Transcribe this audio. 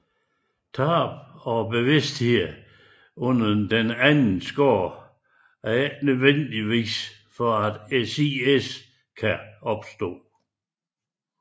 Tab af bevidstheden under den anden skade er ikke nødvendigt for at SIS kan opstå